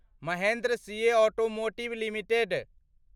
Mahendra CIE automotive limited